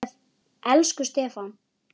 Elsku Stefán.